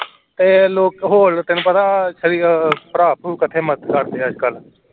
ਤੇ ਲੋਕ ਤੇ ਤੈਨੂੰ ਪਤਾ ਭਰਾ ਭਰੂ ਕੱਠੇ ਮਦਦ ਕਰਦੇ ਐ ਅੱਜਕਲ